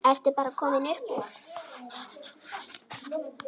Ertu bara komin upp úr?